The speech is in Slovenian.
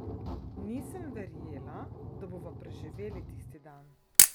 Nisem verjela, da bova preživeli tisti dan!